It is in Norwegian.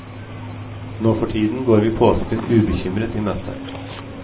Nå for tiden går vi påsken ubekymret i møte.